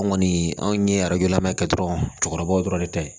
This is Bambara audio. Anw kɔni anw ye lamɛ kɛ dɔrɔn cɛkɔrɔbaw dɔrɔn de ta ye